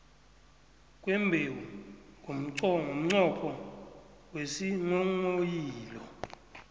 kwembewu ngomnqopho wesinghonghoyilo